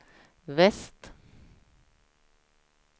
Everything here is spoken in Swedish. väst